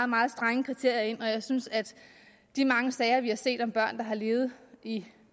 meget strenge kriterier ind og jeg synes at de mange sager vi har set om børn der har levet i